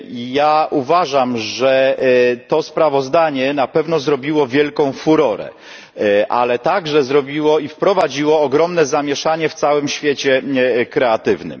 Ja uważam, że to sprawozdanie na pewno zrobiło wielką furorę, ale także zrobiło i wprowadziło ogromne zamieszanie w całym świecie kreatywnym.